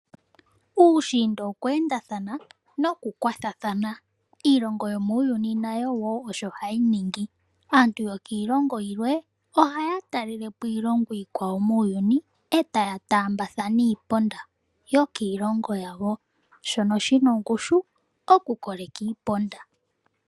Uushinda okweendathana noku kwathathana. Iilongo yomuuyuni nayo wo osho hayi ningi. Aantu yokiilongo yilwe ohaya talelepo iilongo iikwawo muuyuni etaya taambathana iiponda yokiilongo yawo shono shina ongushu okukoleka iiponda.